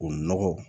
O nɔgɔ